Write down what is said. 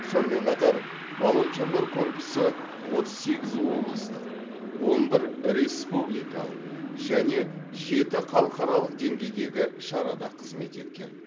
сонымен қатар волонтерлар корпусы отыз сегіз облыстық он бір республикалық және жеті халықаралық деңгейдегі шарада қызмет еткен